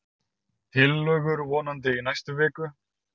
Tillögur vonandi í næstu viku